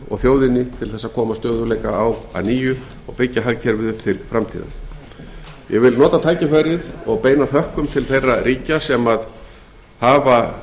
og þjóðinni til þess að koma stöðugleika á að nýju og byggja hagkerfið upp til framtíðar ég vil nota tækifærið og beina þökkum til þeirra ríkja sem ákveðið hafa